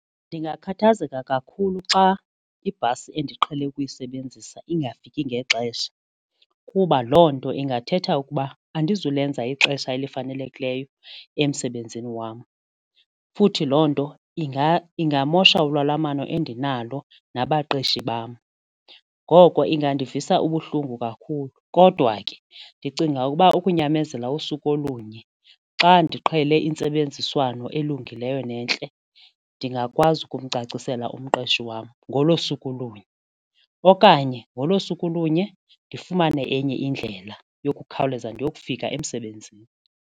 Ndingakhathazeka kakhulu xa ibhasi endiqhele ukuyisebenzisa ingafiki ngexesha kuba loo nto ingathetha ukuba andizulenza ixesha elifanelekileyo emsebenzini wam futhi loo nto iyamosha ulwalamano endinalo nabaqeshi bam ngoko ingandivisa ubuhlungu kakhulu. Kodwa ke ndicinga ukuba ukunyamezela usuku olunye xa ndiqhele intsebenziswano elungileyo nentle, ndingakwazi ukumcacisela umqeshi wam ngolo suku lunye okanye ngolo suku lunye ndifumane enye indlela yokukhawuleza ndiyofika emsebenzini.